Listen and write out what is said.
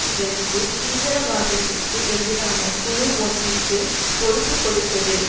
இவருக்கு தீவிரவாதத்திற்கு எதிரான குழு ஒன்றிற்குப் பொறுப்பு கொடுத்தது